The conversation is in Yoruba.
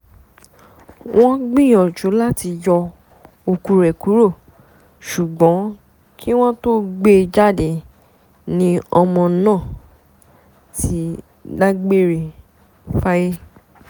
wọ́n gbìyànjú láti yọ òkú rẹ kúrò ṣùgbọ́n kí wọ́n tóó gbé e jáde ni ọmọ náà ti dágbére fáyé